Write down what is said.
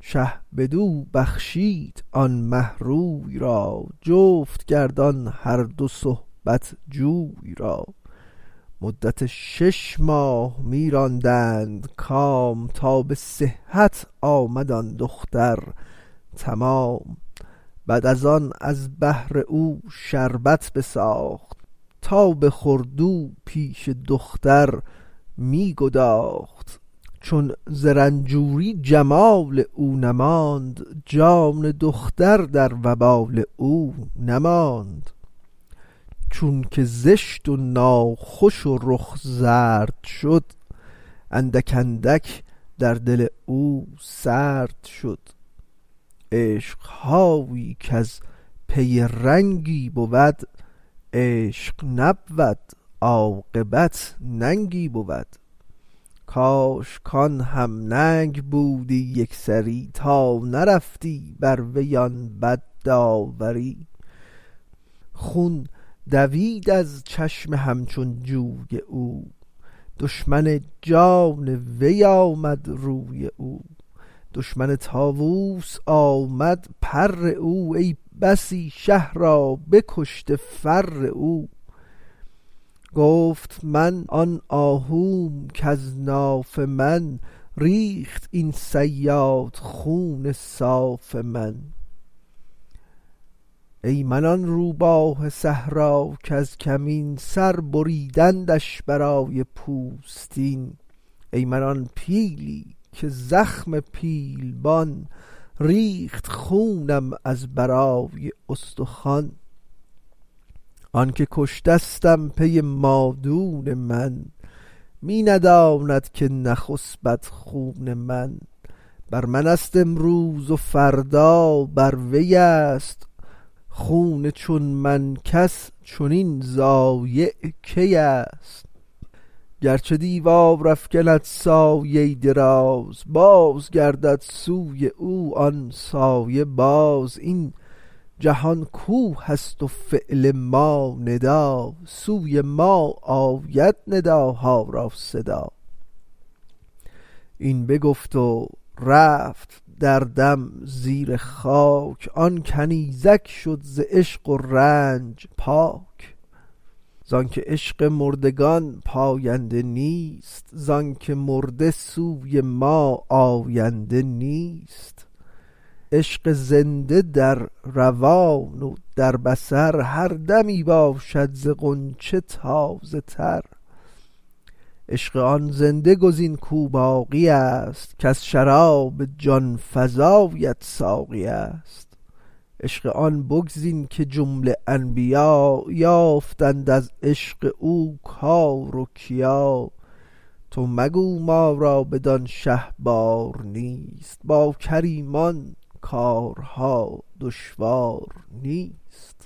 شه بدو بخشید آن مه روی را جفت کرد آن هر دو صحبت جوی را مدت شش ماه می راندند کام تا به صحت آمد آن دختر تمام بعد از آن از بهر او شربت بساخت تا بخورد و پیش دختر می گداخت چون ز رنجوری جمال او نماند جان دختر در وبال او نماند چونک زشت و ناخوش و رخ زرد شد اندک اندک در دل او سرد شد عشق هایی کز پی رنگی بود عشق نبود عاقبت ننگی بود کاش کان هم ننگ بودی یکسری تا نرفتی بر وی آن بد داوری خون دوید از چشم همچون جوی او دشمن جان وی آمد روی او دشمن طاووس آمد پر او ای بسی شه را بکشته فر او گفت من آن آهوم کز ناف من ریخت این صیاد خون صاف من ای من آن روباه صحرا کز کمین سر بریدندش برای پوستین ای من آن پیلی که زخم پیلبان ریخت خونم از برای استخوان آنکه کشتستم پی مادون من می نداند که نخسپد خون من بر منست امروز و فردا بر وی است خون چون من کس چنین ضایع کی است گرچه دیوار افکند سایه دراز باز گردد سوی او آن سایه باز این جهان کوه است و فعل ما ندا سوی ما آید نداها را صدا این بگفت و رفت در دم زیر خاک آن کنیزک شد ز عشق و رنج پاک زانک عشق مردگان پاینده نیست زانک مرده سوی ما آینده نیست عشق زنده در روان و در بصر هر دمی باشد ز غنچه تازه تر عشق آن زنده گزین کو باقی است کز شراب جان فزایت ساقی است عشق آن بگزین که جمله انبیا یافتند از عشق او کار و کیا تو مگو ما را بدان شه بار نیست با کریمان کارها دشوار نیست